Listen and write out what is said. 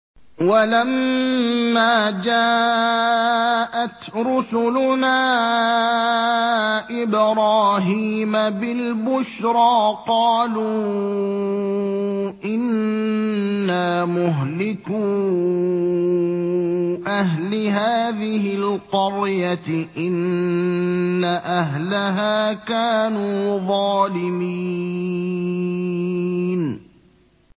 وَلَمَّا جَاءَتْ رُسُلُنَا إِبْرَاهِيمَ بِالْبُشْرَىٰ قَالُوا إِنَّا مُهْلِكُو أَهْلِ هَٰذِهِ الْقَرْيَةِ ۖ إِنَّ أَهْلَهَا كَانُوا ظَالِمِينَ